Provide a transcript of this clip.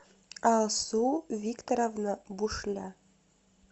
алсу викторовна бушля